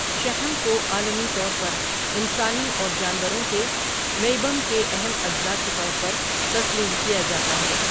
شحم کو عالمی طور پر انسانی اور جانوروں کے میئبم کے اہم اجزاء کے طور پر تسلیم کیا جاتا ہے۔